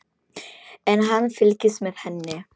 En hann fylgist með henni.